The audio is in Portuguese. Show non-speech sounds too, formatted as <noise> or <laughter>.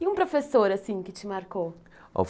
E um professor assim que te marcou? <unintelligible>